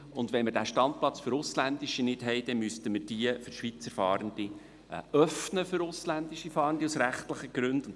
Und wenn wir den Standplatz für ausländische Fahrende nicht haben, dann müssten wir – aus rechtlichen Gründen – jene für Schweizer Fahrende den ausländischen Fahrenden öffnen.